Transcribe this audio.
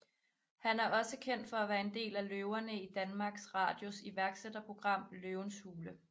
Han er også kendt for at være en af løverne i Danmarks Radios iværksætterprogram Løvens Hule